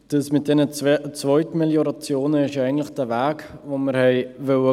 Das mit der Zweitmelioration ist eigentlich der Weg, den wir gehen wollten.